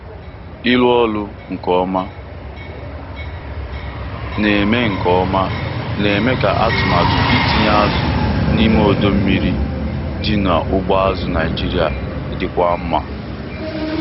ịrụ ọrụ nke ọma na-eme nke ọma na-eme ka atụmatụ itinye azụ n'ime odo mmiri dị na ugbo azụ Naijiria dịkwuo mma.